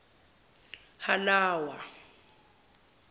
halawa